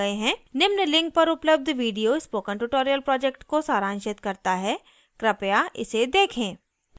निम्न link पर उपलब्ध video spoken tutorial project को सारांशित करता है कृपया इसे देखें